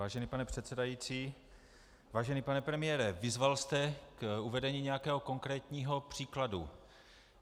Vážený pane předsedající, vážený pane premiére, vyzval jste k uvedení nějakého konkrétního příkladu.